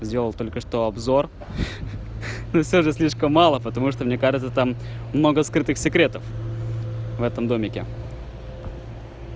сделал только что обзор ха-ха всё же слишком мало потому что мне кажется там много скрытых секретов в этом домике